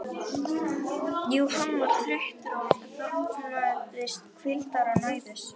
Jú, hann var þreyttur og þarfnaðist hvíldar og næðis.